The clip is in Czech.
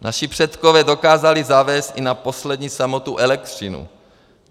Naši předkové dokázali zavést i na poslední samotu elektřinu.